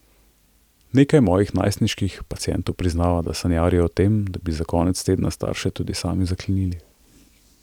Nekaj mojih najstniških pacientov priznava, da sanjarijo o tem, da bi za konec tedna starše tudi sami zaklenili!